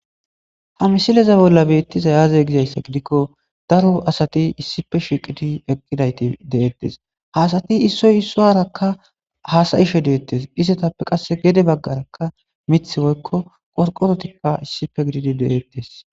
Ha misileza bolla beettiza yaaze gizayssa gidikko daro asati issife shiiqiti eqqidayti de7ettes haasati issoy issuarakka haasayishe deettes istetappe qasse gede baggarakka mith woykko qorqorotikka issife gididi deletes